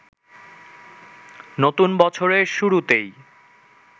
নতুন বছরের শুরুতেই